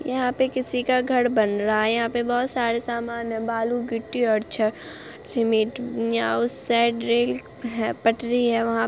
यहाँ पे किसी का घर बन रहा है यहाँ पे बहुत सारे सामान हैं बालू गिट्टी और छड़ सीमेंट यहाँ उस साइड रेल है पटरी है वहाँ।